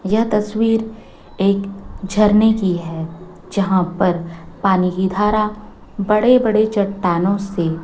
यह तस्वीर एक झरने की है जहाँ पर पानी की धारा बड़े बड़े चट्टानों से--